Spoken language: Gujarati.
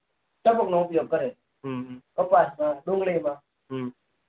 ટપક નો ઉપયોગ કરે હમ કપાસ માં ડુંગળી માં